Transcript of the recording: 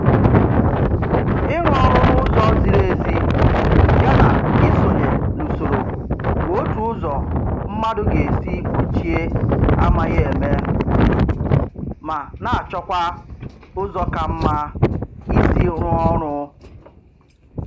Ịrụ ọrụ n'ụzọ ziri ezi ya na isonye n'usoro bụ otu ụzọ mmadụ ga-esi gbochie amaghị eme, ma na-achọkwa ụzọ ka mma isi rụọ ọrụ